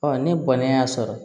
ne bɔnnen y'a sɔrɔ